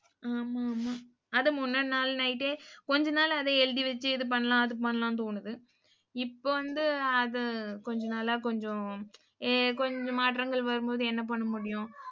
ஆமா ஆமா அதை முந்தா நாள் night ஏ, கொஞ்ச நாள் அதை எழுதி வச்சு இது பண்ணலாம் அது பண்ணலாம்ன்னு தோணுது. இப்போ வந்து அது கொஞ்ச நாளா கொஞ்சம் ஏ கொஞ்சம் மாற்றங்கள் வரும்போது என்ன பண்ண முடியும்?